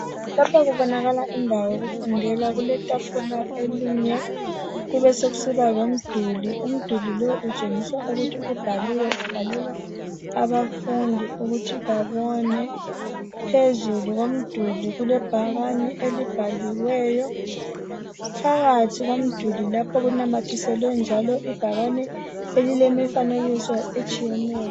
Lapha kubonakala indawo yokufundela kuletafula elinye kube sokusiba lomduli umduli lowu utshengiswa ukuthi ubhalelwa abafundi ukuthi babone phezulu komduli kulebhakane elibhaliweyo phakathi komduli lapha kunamathiselwe njalo ibhakane elilemifanekiso etshiyeneyo